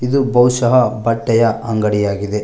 ಇದು ಬಹುಶಹ ಬಟ್ಟೆಯ ಅಂಗಡಿ ಆಗಿದೆ.